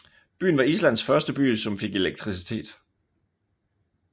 Byen var Islands første by som fik elektricitet